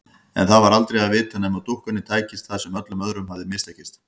En það var aldrei að vita nema dúkkunni tækist það sem öllum öðrum hafði mistekist.